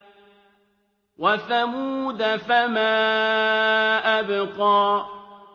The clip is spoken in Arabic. وَثَمُودَ فَمَا أَبْقَىٰ